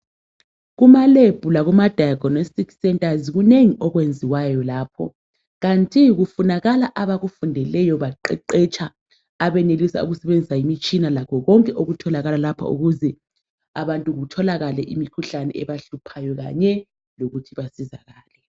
Kuma lab lakuma diagnostic centers, kunengi okwenziwayo lapho. Kanti kufunakala abakufundeleyo, baqeqetsha, abenelisa ukusebenzisa imitshina lakho konke okutholakala lapho ukuze abantu kutholakale imikhuhlane ebahluphayo kanye lokuthi basizakale.